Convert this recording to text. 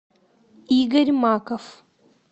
игорь маков